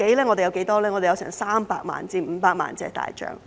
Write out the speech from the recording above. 我們有300萬至500萬隻大象。